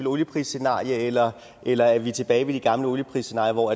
olieprisscenarie eller eller er vi tilbage ved de gamle olieprisscenarier hvor